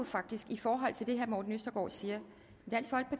faktisk i forhold til det herre morten østergaard siger